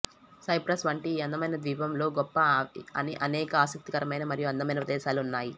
cypress వంటి ఈ అందమైన ద్వీపం లో గొప్ప అని అనేక ఆసక్తికరమైన మరియు అందమైన ప్రదేశాలు ఉన్నాయి